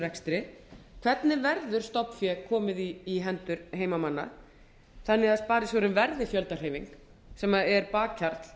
rekstri hvernig verður stofnfé komið í hendur heimamanna þannig að sparisjóðurinn verði fjöldahreyfing sem er bakhjarl